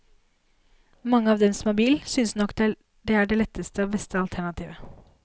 Mange av dem som har bil, synes nok det er det letteste og beste alternativet.